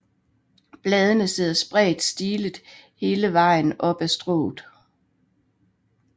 Bladene sidder spredt stillet hele vejen op ad strået